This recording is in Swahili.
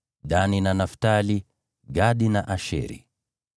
Dani na Naftali, Gadi na Asheri.